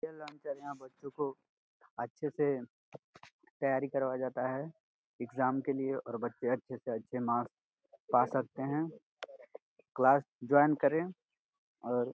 बच्चों को अच्छे से तैयारी करवाया जाता है एग्जाम के लिए और बच्चे अच्छे से अच्छे मार्क्स पा सकते है। क्लास जोइन करे और --